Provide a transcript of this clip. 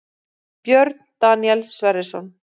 Björn Daníel Sverrisson